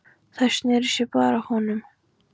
Þær sneru sér báðar að honum.